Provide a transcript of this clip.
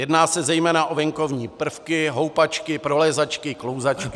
Jedná se zejména o venkovní prvky: houpačky, prolézačky, klouzačky.